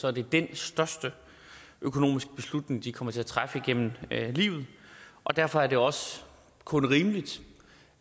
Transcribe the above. er det den største økonomiske beslutning de kommer til at træffe igennem livet og derfor er det også kun rimeligt